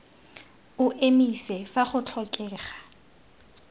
o emise fa go tlhokega